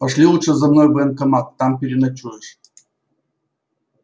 пошли лучше за мной в военкомат там переночуешь